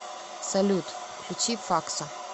салют включи факсо